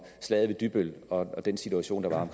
slaget ved dybbøl og den situation der var